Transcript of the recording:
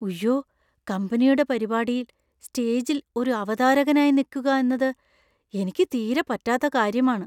ഉയ്യോ കമ്പനിയുടെ പരിപാടിയിൽ സ്റ്റേജിൽ ഒരു അവതാരകനായി നിക്കുക എന്നത് എനിക്ക് തീരെ പറ്റാത്ത കാര്യമാണ്.